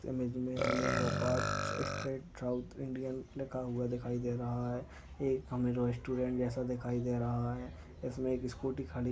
Image मे हमे भोकाड इस्टेट साऊथ इंडियन लिखा हुआ दिखाई दे रहा है एक रेस्टोरन्ट जैसा दिखाई दे रहा हैं। इसमे एक स्कूटी खड़ी--